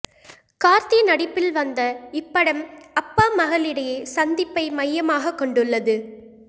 கார்த்தி நடிப்பில் வந்த இப்படம் அப்பா மகள் இடையே சந்திப்பை மையமாக கொண்டுள்ளது